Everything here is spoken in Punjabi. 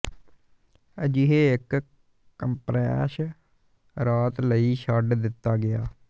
ਅਜਿਹੇ ਇੱਕ ਕੰਪਰੈੱਸ ਰਾਤ ਲਈ ਛੱਡ ਦਿੱਤਾ ਗਿਆ ਹੈ